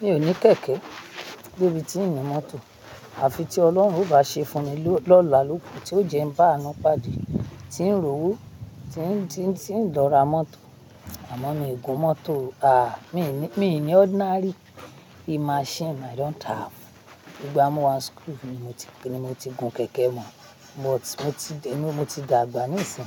Mi ò ní kẹ̀kẹ́, débi tí ń ni mọ́tò. Àfi tí Ọlọ́run ó bá ṣe fún mi lọ́la lọ́ kù, tí ó jẹ́ ń bá anu pàdé, tí ń rówó, tí ń, tí ń, tí ń lọ ra mọ́tò. Àmọ́ mi gùn mọ́tò, mi ni, mi ni ordinary machine I don't have. Ìgbá moo wá n school ni mo ti, ni mo ti gun kẹ̀kẹ́ mọ̀. But mo ti dẹ́nu, mo ti dàgbà níìsín.